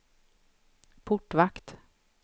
portvakt